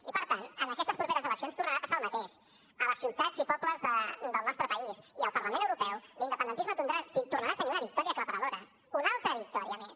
i per tant en aquestes properes eleccions tornarà a passar el mateix a les ciutats i pobles del nostre país i al parlament europeu l’independentisme tornarà a tenir una victòria aclaparadora una altra victòria més